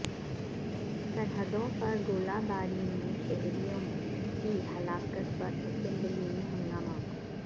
سرحدوں پر گولہ باری میں شہریوں کی ہلاکت پر اسمبلی میں ہنگامہ